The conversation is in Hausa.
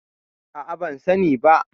A'a, ban sani ba.